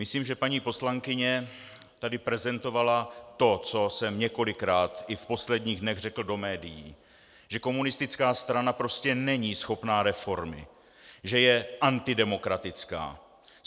Myslím, že paní poslankyně tady prezentovala to, co jsem několikrát i v posledních dnech řekl do médií, že komunistická strana prostě není schopná reformy, že je antidemokratická.